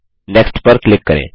next पर click करें